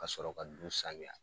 Ka sɔrɔ ka du sanuya